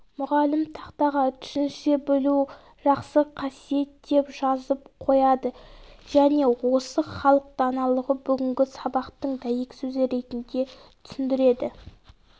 мұғалім тақтаға түсінісе білу жақсы қасиет деп жазып қояды және осы халық даналығын бүгінгі сабақтың дәйексөзі ретінде түсіндіреді